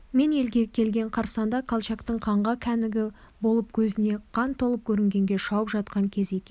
мен елге келген қарсаңда колчактың қанға кәнігі болып көзіне қан толып көрінгенге шауып жатқан кезі екен